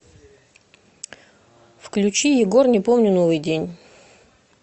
включи егор не помню новый день